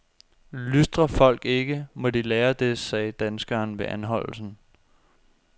Lystrer folk ikke, må de lære det, sagde danskeren ved anholdelsen.